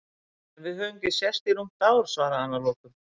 En við höfum ekki sést í rúmt ár, svaraði hann að lokum.